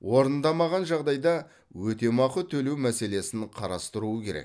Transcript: орындамаған жағдайда өтемақы төлеу мәселесін қарастыруы керек